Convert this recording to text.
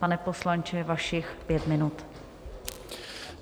Pane poslanče, vašich pět minut.